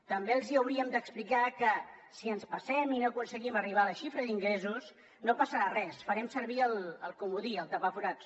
també els hauríem d’explicar que si ens passem i no aconseguim arribar a la xifra d’ingressos no passarà res farem servir el comodí el tapaforats